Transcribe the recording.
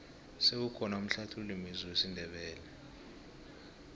sewukhona umhlathululi mezwi wesindebele